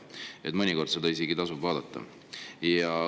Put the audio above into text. Kahju, mõnikord seda isegi tasub vaadata.